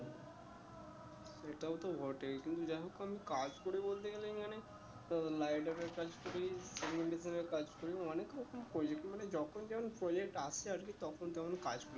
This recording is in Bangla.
সেটাও তো বটে কিন্তু যাই হোক আমি কাজ করি বলতে গেলে আমি অনেক liderer কাজ করি এর কাজ করি অনেক রকম করি মানে যখন যেমন project আসে আর কি তখন তেমন কাজ করি